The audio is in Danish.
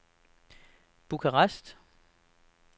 Bukarest